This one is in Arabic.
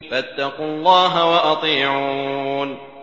فَاتَّقُوا اللَّهَ وَأَطِيعُونِ